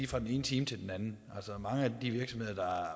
fra den ene time til den anden altså mange af de virksomheder